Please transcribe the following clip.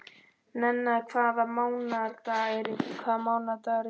Nenna, hvaða mánaðardagur er í dag?